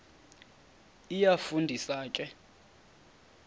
iyafu ndisa ke